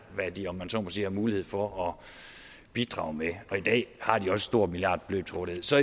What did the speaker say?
hvad de om jeg så må sige har mulighed for at bidrage med og i dag har de også et stort milliardbeløb til rådighed så